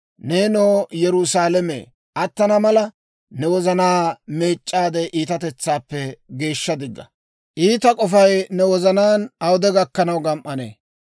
Neenoo Yerusaalame, attana mala, ne wozanaa meec'c'aade iitatetsaappe geeshsha digga! Iita k'ofay ne wozanaan awude gakkanaw gam"anee?